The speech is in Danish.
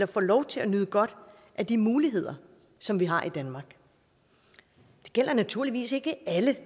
får lov til at nyde godt af de muligheder som vi har i danmark det gælder naturligvis ikke alle